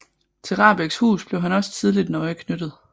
Til Rahbeks hus blev han også tidlig nøje knyttet